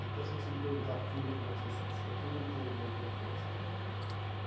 Até se você me perguntar a fundo como é que são esses cursos técnicos, eu não entendo bem como é que é, sabe? Uhum